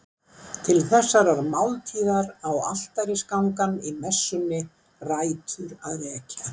Til þessarar máltíðar á altarisgangan í messunni rætur að rekja.